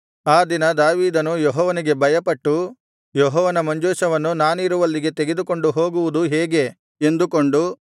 ಆ ದಿನ ದಾವೀದನು ಯೆಹೋವನಿಗೆ ಭಯಪಟ್ಟು ಯೆಹೋವನ ಮಂಜೂಷವನ್ನು ನಾನಿರುವಲ್ಲಿಗೆ ತೆಗೆದುಕೊಂಡು ಹೋಗುವುದು ಹೇಗೆ ಎಂದುಕೊಂಡು